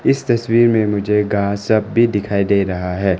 इस तस्वीर में मुझे घास सब भी दिखाई दे रहा है।